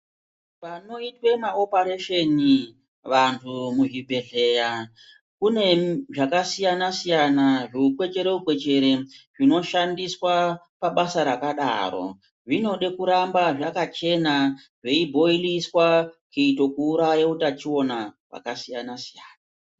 Panoitwe maoparesheni, vanthu muzvibhedhleya, kune zvakasiyana-siyana, zviukwechere-kwechere, zvinoshandiswa pabasa rakadaro, zvinoda kuramba zvakachena, zveibhoiliswa, kuite kuuraya utachiona hwakasiyana-siyana.